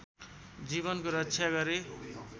जीवनको रक्षा गरे